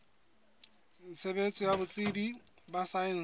tshebetso ya botsebi ba saense